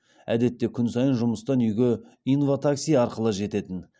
әдетте күн сайын жұмыстан үйге инва такси арқылы жететін